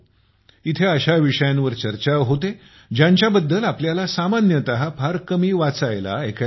येथे अशा विषयांवरचर्चा होते ज्यांच्याबद्दल आपल्याला सामान्यतःफार कमी वाचायला ऐकायला मिळते